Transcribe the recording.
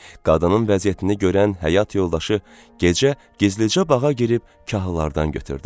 Qadının vəziyyətini görən həyat yoldaşı gecə gizlicə bağa girib kahlardan götürdü.